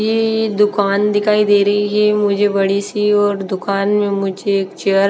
इ दुकान दिखाई दे रहीं हैं मुझे बड़ी सी और दुकान में मुझे एक चेयर --